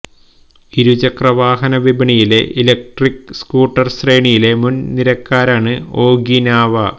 ഇരുചക്ര വാഹന വിപണിയിലെ ഇലക്ട്രിക്ക് സ്കൂട്ടർ ശ്രേണിയിലെ മുൻ നിരക്കാരാണ് ഒഖീനാവ